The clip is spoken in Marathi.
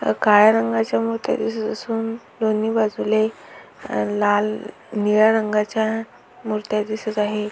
काळ्या रंगाच्या मुर्त्या दिसत असून दोन्ही बाजूला एक लाल निळ्या रंगाच्या मुर्त्या दिसत आहे.